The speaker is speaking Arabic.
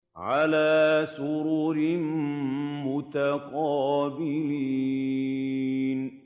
عَلَىٰ سُرُرٍ مُّتَقَابِلِينَ